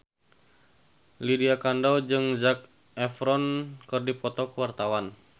Lydia Kandou jeung Zac Efron keur dipoto ku wartawan